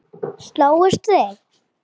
Slógust þið?